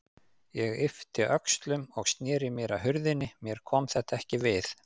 Ég yppti öxlum og sneri mér að hurðinni, mér kom þetta ekkert við.